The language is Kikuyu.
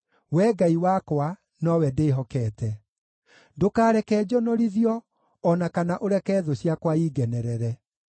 Wee Ngai wakwa, nowe ndĩhokete. Ndũkareke njonorithio, o na kana ũreke thũ ciakwa ingenerere.